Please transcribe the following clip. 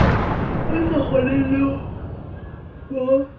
o sa kgoneng ho bo